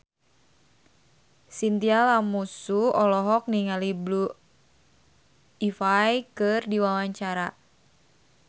Chintya Lamusu olohok ningali Blue Ivy keur diwawancara